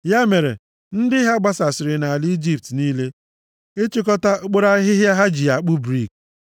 Ya mere ndị ha gbasasịrị nʼala Ijipt niile ịchịkọta okporo ahịhịa ha ji akpụ brik.